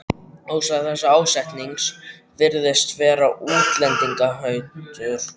Ástæða þessa ásetnings virðist vera útlendingahatur.